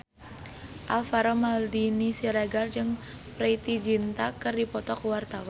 Alvaro Maldini Siregar jeung Preity Zinta keur dipoto ku wartawan